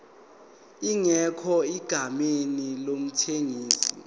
ingekho egameni lomthengisi